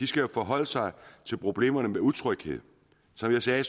skal jo forholde sig til problemerne med utryghed som jeg sagde